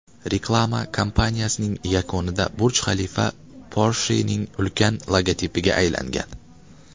Reklama kampaniyasining yakunida Burj-Xalifa Porsche’ning ulkan logotipiga aylangan.